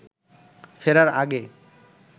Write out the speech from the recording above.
ফেরার আগে